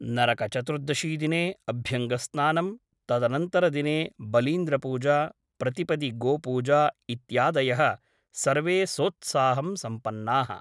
नरकचतुर्दशीदिने अभ्यङ्गस्नानम् , तदनन्तरदिने बलीन्द्रपूजा , प्रतिपदि गोपूजा इत्यादयः सर्वे सोत्साहं सम्पन्नाः ।